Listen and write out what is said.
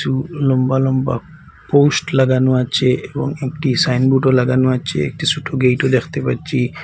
উ লম্বা লম্বা পোস্ট লাগানো আছে এবং একটি সাইনবোর্ডও লাগানো আছে একটি সোট গেটও দেখতে পাচ্ছি।